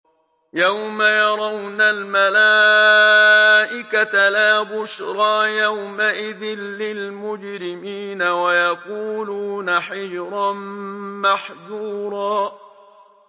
يَوْمَ يَرَوْنَ الْمَلَائِكَةَ لَا بُشْرَىٰ يَوْمَئِذٍ لِّلْمُجْرِمِينَ وَيَقُولُونَ حِجْرًا مَّحْجُورًا